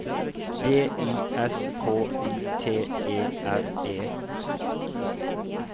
D I S K U T E R E